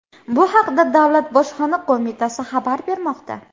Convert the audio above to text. Bu haqda Davlat Bojxona qo‘mitasi xabar bermoqda .